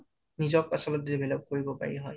্নিজক আছলতে develop কৰিব পাৰি হয়